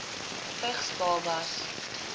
vigs babas